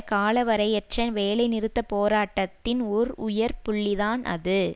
காலவரையற்ற வேலைநிறுத்த போராட்டத்தின் ஒரு உயர் புள்ளிதான் அது